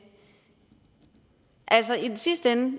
altså i den sidste ende